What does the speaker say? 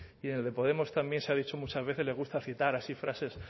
y en el de podemos también se ha dicho muchas veces les gusta citar así frases